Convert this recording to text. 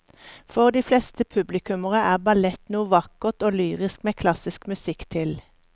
For de fleste publikummere er ballett noe vakkert og lyrisk med klassisk musikk til.